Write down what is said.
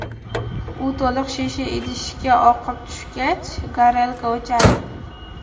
U to‘liq shisha idishga oqib tushgach, gorelka o‘chadi.